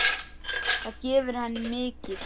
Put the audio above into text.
Það gefur henni mikið.